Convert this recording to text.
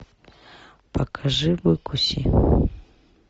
покажи выкуси